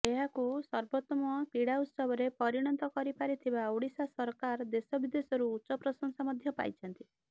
ଏହାକୁ ସର୍ବୋତ୍ତମ କ୍ରୀଡ଼ା ଉତ୍ସବରେ ପରିଣତ କରିପାରିଥିବା ଓଡ଼ିଶା ସରକାର ଦେଶ ବିଦେଶରୁ ଉଚ୍ଚ ପ୍ରଶଂସା ମଧ୍ୟ ପାଇଛନ୍ତି